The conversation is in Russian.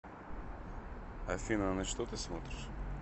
афина на что ты смотришь